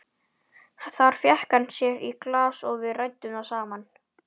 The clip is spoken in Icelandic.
Þar fékk hann sér í glas og við ræddum saman.